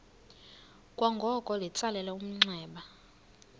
kwangoko litsalele umnxeba